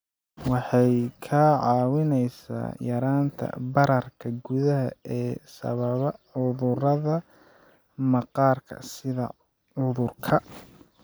Waxay kaa caawinaysaa yaraynta bararka gudaha ee sababa cudurrada maqaarka sida cudurka